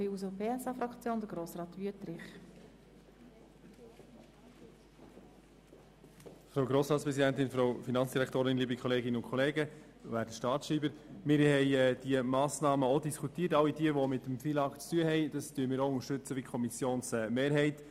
Wir haben über diese Massnahmen, die das FILAG betreffen, diskutiert und stimmen gleich wie die Kommissionsmehrheit.